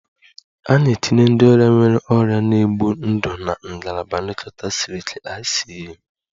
A na-etinye ndị ọrịa nwere ọrịa na-egbu ndụ na Ngalaba Nlekọta Siri Ike (ICU)